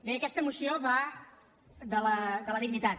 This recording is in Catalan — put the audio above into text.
bé aquesta moció va de la dignitat